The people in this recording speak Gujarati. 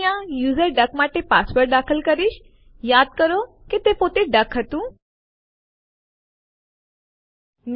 સામાન્ય રીતે આપણે સીપી આદેશ દ્વારા કેટલાક સમાવિષ્ટો સીધા કોપી ન કરી શકીએ